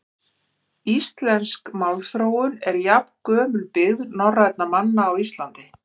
Íslensk málþróun er jafngömul byggð norrænna manna á Íslandi.